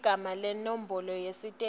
ligama nenombolo yesitezi